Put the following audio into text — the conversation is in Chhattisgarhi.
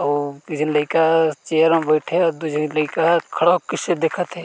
अउ एक झीन लइका ह चेयर मा बैठे हे अउ दू झी लइका ह खड़े होके कइसे देखत हे।